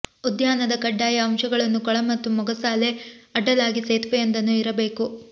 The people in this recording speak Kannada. ಉದ್ಯಾನದ ಕಡ್ಡಾಯ ಅಂಶಗಳನ್ನು ಕೊಳ ಮತ್ತು ಮೊಗಸಾಲೆ ಅಡ್ಡಲಾಗಿ ಸೇತುವೆಯೊಂದನ್ನು ಇರಬೇಕು